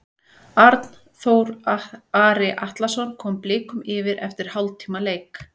Arnþór Ari Atlason kom Blikum yfir eftir hálftíma leik.